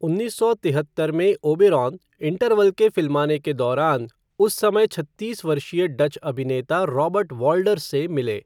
उन्नीस सौ तिहत्तर में, ओबेरॉन, इंटरवल के फिल्माने के दौरान, उस समय छत्तीस वर्षीय डच अभिनेता रॉबर्ट वॉल्डर्स से मिले।